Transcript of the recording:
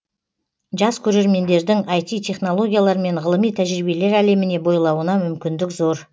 жас көреремендердің іт технологиялар мен ғылыми тәжірибелер әлеміне бойлауына мүмкіндік зор